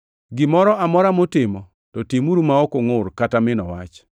Gimoro amora mutimo, to timuru ma ok ungʼur kata mino wach,